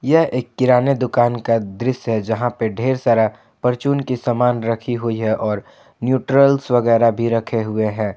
यह एक किराने दुकान का दृश्य है जहां पे ढेर सारा परचून की समान राखी हुई है और न्यूट्रल्स वगैरा भी रखे हुए हैं।